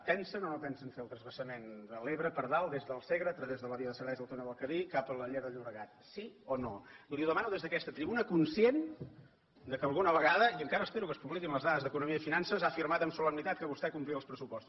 pensen o no pensen fer el transvasament de l’ebre per dalt des del segre a través de la via de serveis del túnel de cadí cap a la llera del llobregat sí o no li ho demano des d’aquesta tribuna conscient que alguna vegada i encara espero que es publiquin les dades d’economia i finances ha afirmat amb solemnitat que vostè complia els pressupostos